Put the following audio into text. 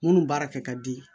Munnu baara kɛ ka di